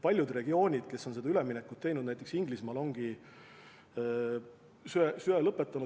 Paljud regioonid, kes on seda üleminekut teinud, näiteks Inglismaal, ongi söega lõpetanud.